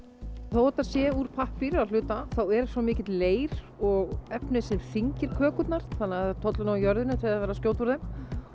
þó þetta sé úr pappír að hluta þá er svo mikill leir og efni sem þyngir kökurnar þannig það tollir nú á jörðinni þegar verið er að skjóta úr þeim